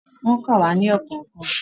Wọ́n kà wá ní ọ̀kọ̀ọ̀kan.